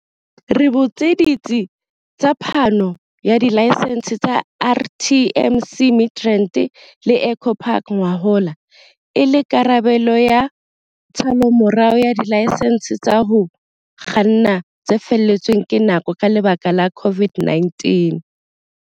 Le butse ditsi tsa phano ya dilaesense tsa RTMC Midrand le Eco Park ngwahola, e le karabelo ya tshallomorao ya dilaesense tsa ho kganna tse felletsweng ke nako ka lebaka la COVID-19.